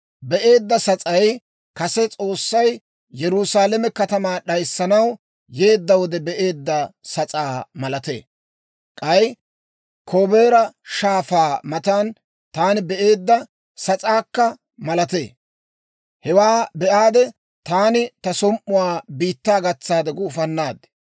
Be'eedda sas'ay kase S'oossay Yerusaalame katamaa d'ayissanaw yeedda wode be'eedda sas'aa malatee; k'ay Kobaara Shaafaa matan taani be'eedda sas'aakka malatee. Hewaa be'aade, taani ta som"uwaa biittaa gatsaade gufannaad.